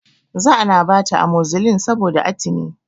Za ana bata amozilin saboda atini